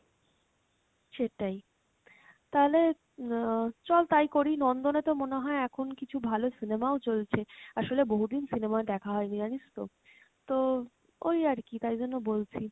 সেটাই, তাহলে আহ চল তাই করি, নন্দনে তো মনে হয় এখন কিছু ভালো cinema ও চলছে, আসলে বহুদিন cinema দেখা হয়নি জানিস তো, তো ওই আর কী তাই জন্য বলছি।